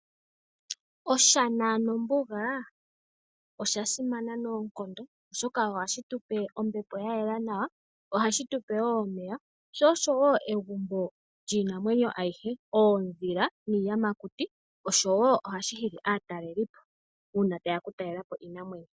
Oshana nombuga osha simana noonkondo oshoka ohashi tupe ombepo yayela nawa sho ohashi tupe woo omeya, sho osho woo egumbo lyiinamwenyo ayihe oondhila niiyamakuti oshowo ohashi hili aatalelipo uuna tayeya kutalela po iinamwenyo.